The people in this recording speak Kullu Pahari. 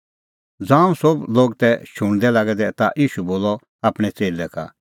ज़ांऊं सोभ लोग तै शुणदै लागै दै ता ईशू बोलअ आपणैं च़ेल्लै का